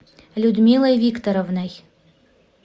людмилой викторовной